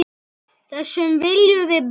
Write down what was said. Þessu viljum við breyta.